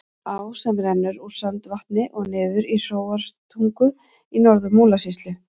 Á sem rennur úr Sandvatni og niður í Hróarstungu í Norður-Múlasýslu.